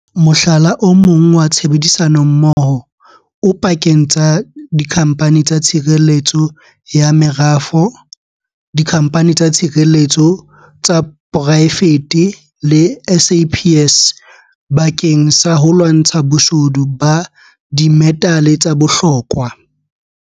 Mohlala o mong wa tshebedisanommoho o pakeng tsa dikhamphani tsa tshireletso ya merafo, dikhamphani tsa tshireletso tsa poraefete le SAPS bakeng sa ho lwantsha boshodu ba dimetale tsa bohlokwa.